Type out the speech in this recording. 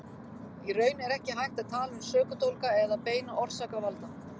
Í raun er ekki hægt að tala um sökudólga eða beina orsakavalda.